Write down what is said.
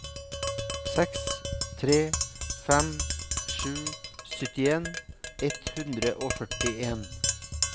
seks tre fem sju syttien ett hundre og førtien